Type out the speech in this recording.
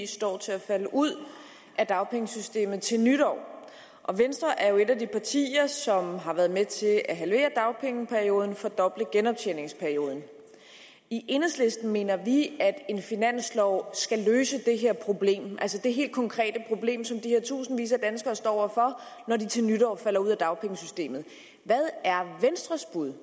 står til at falde ud af dagpengesystemet til nytår venstre er et af de partier som har været med til at halvere dagpengeperioden og fordoble genoptjeningsperioden i enhedslisten mener vi at en finanslov skal løse det problem altså det helt konkrete problem som de her tusindvis af danskere står over for når de til nytår falder ud af dagpengesystemet hvad er venstres bud